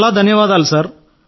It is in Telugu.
చాలా ధన్యవాదాలు సార్